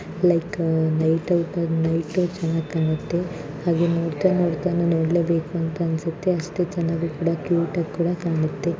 like night ಹೊತ್ತು light ಚೆನ್ನಾಗಿ ಕಾಣುತ್ತೆ ಹಾಗೇ ನೋಡ್ತಾ ನೋಡ್ತಾನೆ ನೋಡಲೇ ಬೇಕು ಅನಿಸುತ್ತೆ ಚೆನ್ನಾಗಿ ಕ್ಯೂಟ್‌ ಆಗಿ ಕಾಣುತ್ತೆ